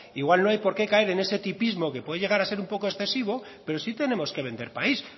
igual no hay que por qué caer en ese tipismo que puede llegar a ser un poco excesivo pero sí tenemos que vender país